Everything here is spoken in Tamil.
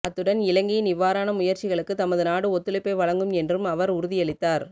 அத்துடன் இலங்கையின் இவ்வாறான முயற்சிகளுக்கு தமது நாடு ஒத்துழைப்பை வழங்கும் என்றும் அவர் உறுதியளித்தார்